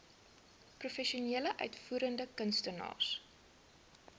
professionele uitvoerende kunstenaars